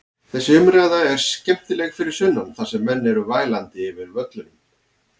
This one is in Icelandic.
Þessi umræða er skemmtileg fyrir sunnan þar sem menn eru vælandi yfir völlunum.